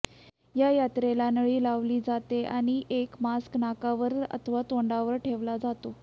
या यंत्राला नळी लावली जाते आणि एक मास्क नाकावर अथवा तोंडावर ठेवला जातो